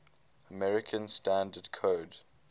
american standard code